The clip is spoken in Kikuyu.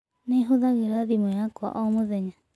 Nĩ hũthagĩra thimũ yakwa o mũthenya.